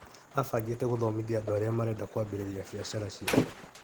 Abangĩte gũthomithia andũ arĩa marenda kwambĩrĩria biacara ciao.